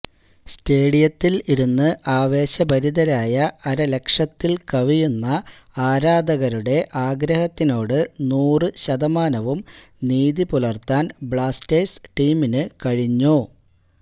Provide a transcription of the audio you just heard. സ്റ്റേഡിയത്തിൽ ഇരുന്ന് ആവേശഭരിതരായ അരലക്ഷത്തിൽ കവിയുന്ന ആരാധകരുടെ ആഗ്രഹത്തിനോട് നൂറ് ശതമാനവും നീതി പുലർത്താൻ ബ്ലാസ്റ്റേഴ്സ് ടീമിനു കഴിഞ്ഞു